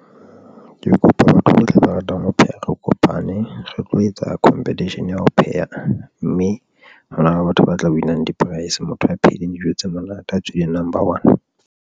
Ke kopa batho bohle ba ratang ho pheha, re kopane, re tlo etsa competition ya ho pheha mme hona le batho ba tla win-ang di-price motho a phehileng dijo tse monate, a tswileng number one.